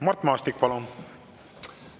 Mart Maastik, palun!